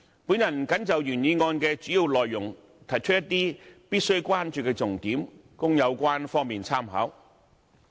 我謹就原議案的主要內容提出一些必須關注的重點，供有關方面參考。